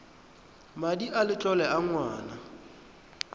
madi a letlole a ngwana